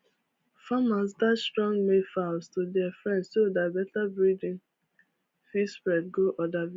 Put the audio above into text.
farmers dash strong male fowls to dia friends so dat better breading fit spread go oda villages